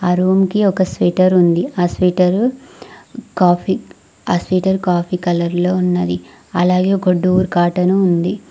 ఆ రూమ్ కి ఒక స్వేటర్ ఉంది ఆ స్వేటర్ కాఫీ ఆ స్వేటర్ కాఫీ కలర్ లో ఉన్నది అలాగే ఒక డోర్ కాటన్ ఉంది.